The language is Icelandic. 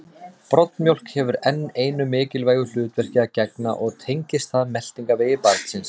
Broddmjólk hefur enn einu mikilvægu hlutverki að gegna og tengist það meltingarvegi barnsins.